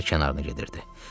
Şəhər kənarına gedirdi.